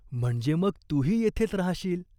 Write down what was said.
म्हणजे मग तूही येथेच राहाशील.